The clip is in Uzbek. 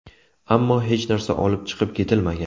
Ammo hech narsa olib chiqib ketilmagan.